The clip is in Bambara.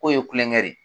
K'o ye kulonkɛ de ye